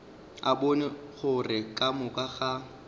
bone gore ka moka ga